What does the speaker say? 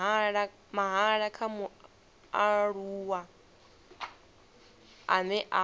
mahala kha mualuwa ane a